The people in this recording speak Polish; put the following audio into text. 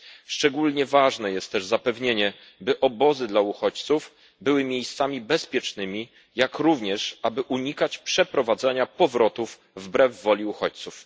Szczególnie ważne jest też zapewnienie, by obozy dla uchodźców były miejscami bezpiecznymi, jak również, aby unikać przeprowadzania powrotów wbrew woli uchodźców.